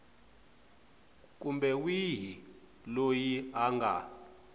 kumbe wihi loyi a nga